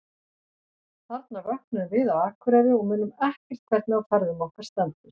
Þarna vöknum við á Akureyri og munum ekki hvernig á ferðum okkar stendur.